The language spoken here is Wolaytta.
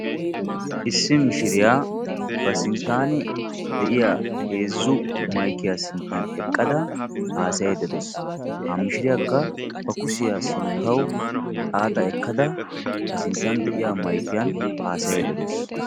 issi mishiriyaa ba sinttani de"iyaa heezzu maykiyaani haasayidda dawssu.